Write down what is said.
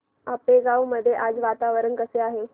आपेगाव मध्ये आज वातावरण कसे आहे